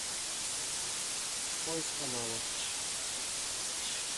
поиск канала